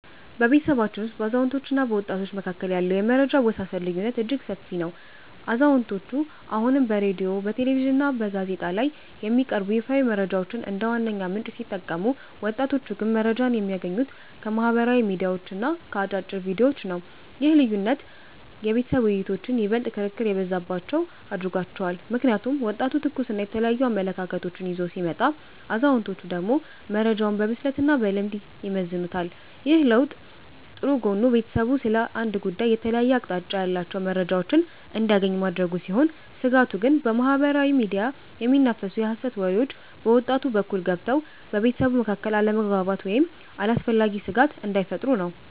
በቤተሰባችን ውስጥ በአዛውንቶችና በወጣቶች መካከል ያለው የመረጃ አወሳሰድ ልዩነት እጅግ ሰፊ ነው። አዛውንቶቹ አሁንም በሬድዮ፣ በቴሌቪዥንና በጋዜጣ ላይ የሚቀርቡ ይፋዊ መረጃዎችን እንደ ዋነኛ ምንጭ ሲጠቀሙ፣ ወጣቶቹ ግን መረጃን የሚያገኙት ከማኅበራዊ ሚዲያዎችና ከአጫጭር ቪዲዮዎች ነው። ይህ ልዩነት የቤተሰብ ውይይቶችን ይበልጥ ክርክር የበዛባቸው አድርጓቸዋል። ምክንያቱም ወጣቱ ትኩስና የተለያዩ አመለካከቶችን ይዞ ሲመጣ፣ አዛውንቶቹ ደግሞ መረጃውን በብስለትና በልምድ ይመዝኑታል። ይህ ለውጥ ጥሩ ጎኑ ቤተሰቡ ስለ አንድ ጉዳይ የተለያየ አቅጣጫ ያላቸውን መረጃዎች እንዲያገኝ ማድረጉ ሲሆን፤ ስጋቱ ግን በማኅበራዊ ሚዲያ የሚናፈሱ የሐሰት ወሬዎች በወጣቱ በኩል ገብተው በቤተሰቡ መካከል አለመግባባት ወይም አላስፈላጊ ስጋት እንዳይፈጥሩ ነው።